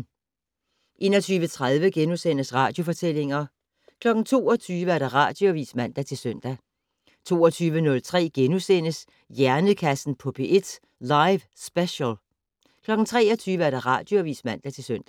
21:30: Radiofortællinger * 22:00: Radioavis (man-søn) 22:03: Hjernekassen på P1: Live Special * 23:00: Radioavis (man-søn)